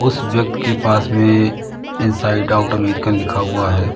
उसे वक्त के पास में इनसाइड आउट अमेरिका लिखा हुआ है।